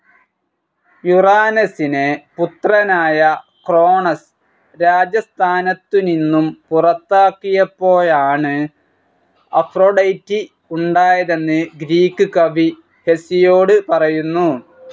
യുറാനസിനെ പുത്രനായ ക്രോണസ് രാജസ്ഥാനത്തുനിന്നും പുറത്താക്കിയപ്പോഴാണ് അഫ്രൊഡൈറ്റി ഉണ്ടായതെന്ന് ഗ്രീക്ക് കവി ഹെസിയോഡ് പറയുന്നു.